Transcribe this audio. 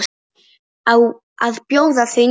Á að bjóða þau niður?